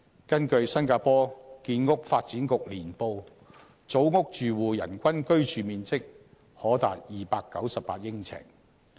根據新加坡建屋發展局年報，組屋住戶人均居住面積可達298呎。